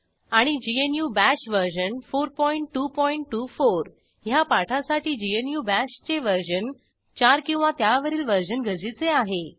आणि GNU bash version 4224 ह्या पाठासाठी ग्नू bashचे वर्जन 4 किंवा त्यावरील वर्जन गरजेचे आहे